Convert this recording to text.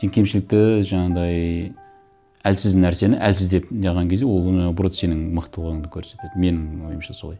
сен кемшілікті жаңағындай әлсіз нәрсені әлсіз деп не қылған кезде ол наоборот сенің мықтылығыңды көрсетеді менің ойымша солай